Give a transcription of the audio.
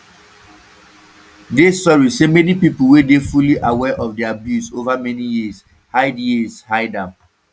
dey sorry say many pipo wey dey fully aware of di abuse ova many years hide years hide am